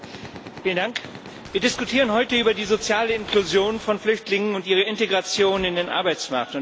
Frau Präsidentin! Wir diskutieren heute über die soziale Inklusion von Flüchtlingen und ihre Integration in den Arbeitsmarkt.